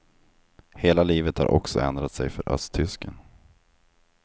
Hela livet har också ändrat sig för östtysken.